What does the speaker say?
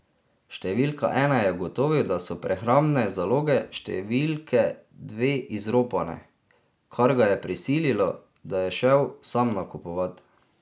Številka ena je ugotovil, da so prehrambne zaloge številke dve izropane, kar ga je prisililo, da je šel sam nakupovat.